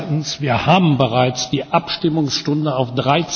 Zweitens Wir haben bereits die Abstimmungsstunde auf